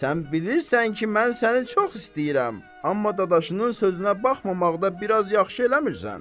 Sən bilirsən ki, mən səni çox istəyirəm, amma dadaşının sözünə baxmamaqda biraz yaxşı eləmirsən.